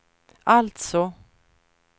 alltså